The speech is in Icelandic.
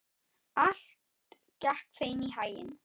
Allt gekk þeim í haginn.